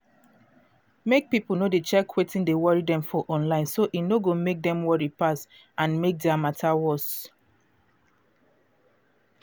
mek pipo no dey check wetin dey worry dem for online so e no go mek dem worry pass and mek their matter worse.